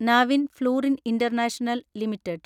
Navin fluorine international limited